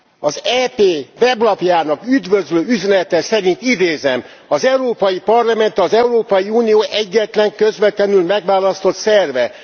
Az EP weblapjának üdvözlő üzenete szerint, idézem Az Európai Parlament az Európai Unió egyetlen közvetlenül megválasztott szerve.